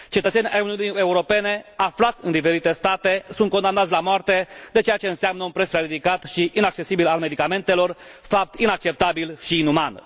Cetățeni ai Uniunii Europene aflați în diferite state sunt condamnați la moarte de ceea ce înseamnă un preț prea ridicat și inaccesibil al medicamentelor, fapt inacceptabil și inuman.